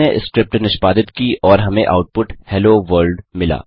इसने स्क्रिप्ट निष्पादित की और हमें आउटपुट हेलो World